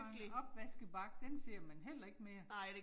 Og en opvaskebakke, den ser man heller ikke mere